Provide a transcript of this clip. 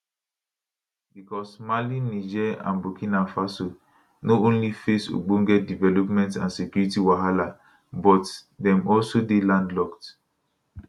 bicos mali niger and burkina faso no only face ogbonge development and security wahala but dem also dey landlocked